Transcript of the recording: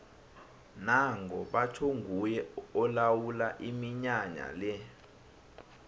nango batjho nguye olawula iminyanya le